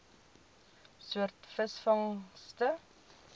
soort visvangste